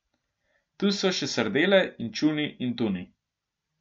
Tu so še sardele, inčuni in tuni.